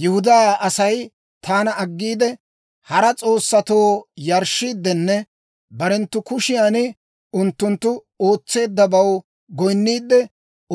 Yihudaa Asay taana aggiide, hara s'oossatoo yarshshiiddenne barenttu kushiyan unttunttu ootseeddabaw goyinniidde,